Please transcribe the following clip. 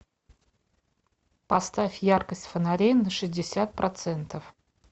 поставь яркость фонари на шестьдесят процентов